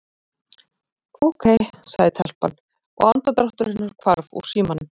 Ókei- sagði telpan og andardráttur hennar hvarf úr símanum.